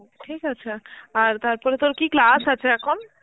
ঠিক আছে, আর তারপরে তোর কি class আছে এখন?